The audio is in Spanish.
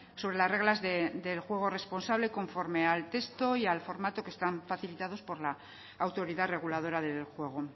sobre las reglas del juego responsable conforme al texto y al formato que están facilitados por la autoridad reguladora del juego